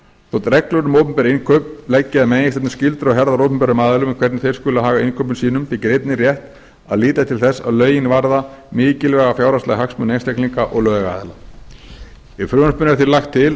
þótt reglur um opinber innkaup leggi að meginhluta skyldur á herðar opinberum aðilum um hvernig þeir skuli haga innkaupum sínum þykir einnig rétt að líta til þess að lögin varða mikilvæga fjárhagslega hagsmuni einstaklinga og lögaðila í frumvarpinu er því lagt til